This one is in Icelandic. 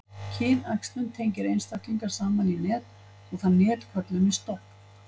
kynæxlun tengir einstaklinga saman í net og það net köllum við stofn